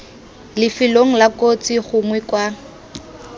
lifelong la kotsi gongwe kwa